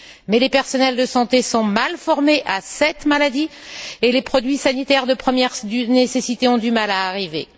Mais les personnels de santé sont mal formés à cette maladie et les produits sanitaires de première nécessité ont du mal à arriver.